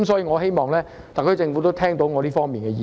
我希望特區政府聽到我對這方面的意見。